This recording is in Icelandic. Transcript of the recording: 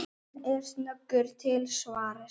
Hann er snöggur til svars.